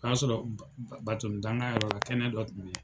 O y'a sɔrɔ danka yɔrɔ la, kɛnɛ dɔ tun be yen.